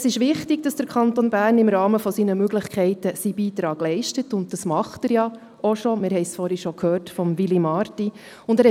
Es ist wichtig, dass der Kanton Bern im Rahmen seiner Möglichkeiten seinen Beitrag leistet, und er tut dies bereits, wie wir vorhin von Willy Marti gehört haben.